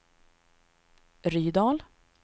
Rydal